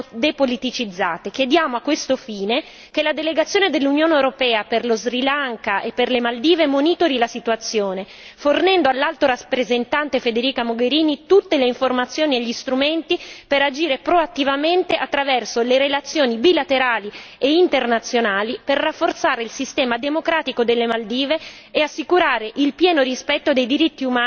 Chiediamo a questo fine che la delegazione dell'Unione europea per lo Sri Lanka e per le Maldive monitori la situazione, fornendo all'Alto rappresentante Federica Mogherini tutte le informazioni e gli strumenti per agire proattivamente attraverso le relazioni bilaterali e internazionali per rafforzare il sistema democratico delle Maldive e assicurare il pieno rispetto dei diritti umani e delle libertà fondamentali.